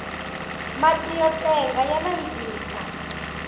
mati yo tenga ya nandzika